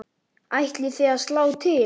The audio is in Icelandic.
Ætlið þið að slá til?